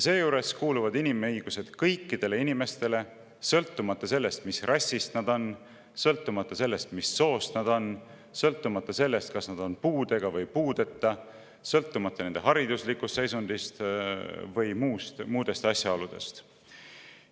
Seejuures kuuluvad inimõigused kõikidele inimestele, sõltumata sellest, mis rassist nad on, sõltumata sellest, mis soost nad on, sõltumata sellest, kas nad on puudega või puudeta, sõltumata nende hariduslikust seisundist või muudest asjaoludest.